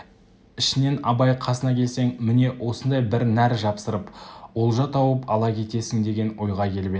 ішінен абай қасына келсең міне осындай бір нәр жапсырып олжа тауып ала кетесің деген ойға келіп еді